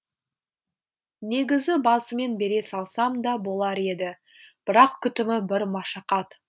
негізі басымен бере салсам да болар еді бірақ күтімі бір машақат